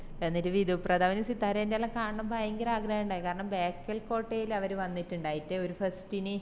എന്നിറ്റ് വിധു പ്രതാബിനേം സിത്താരനേം എല്ലാം കാണാനെന്ന് ഭയങ്കര ആഗ്രഹിൻഡായി കാരണം ബേക്കൽ കോട്ടേല് അവര് വന്നിറ്റിണ്ടായി ഒര് fest ന്